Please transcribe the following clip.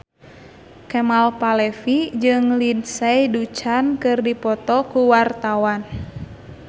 Kemal Palevi jeung Lindsay Ducan keur dipoto ku wartawan